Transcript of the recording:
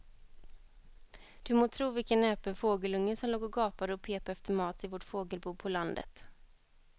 Du må tro vilken näpen fågelunge som låg och gapade och pep efter mat i vårt fågelbo på landet.